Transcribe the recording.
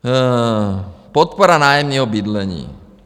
Podpora nájemního bydlení.